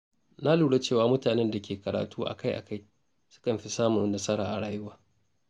Na lura cewa mutanen da ke karatu akai-akai sukan fi samun nasara a rayuwa.